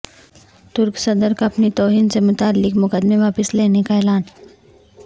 ترک صدر کا اپنی توہین سے متعلق مقدمے واپس لینے کا اعلان